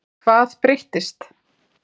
Hvað breyttist?